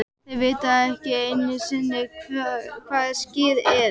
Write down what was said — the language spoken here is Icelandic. Þeir vita ekki einusinni hvað Skyr ER?!